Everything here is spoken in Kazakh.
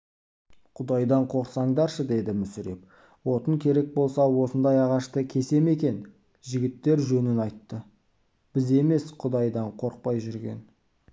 құдайдан қорықсаңдаршы деді мүсіреп отын керек болса осындай ағашты кесе ме екен жігіттер жөнін айтты біз емес құдайдан қорықпай жүрген